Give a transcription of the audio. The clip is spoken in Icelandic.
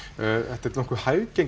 þetta er nokkuð